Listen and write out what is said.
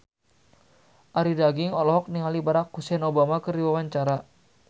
Arie Daginks olohok ningali Barack Hussein Obama keur diwawancara